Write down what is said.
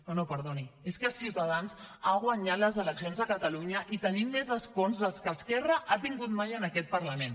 no no perdoni és que ciutadans ha guanyat les eleccions a catalunya i tenim més escons dels que esquerra ha tingut mai en aquest parlament